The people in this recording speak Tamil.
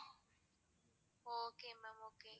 okay ma'am okay.